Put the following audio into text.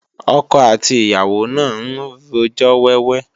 Ọkọ àti ìyàwó náà ń rojọ́ wẹ́wẹ́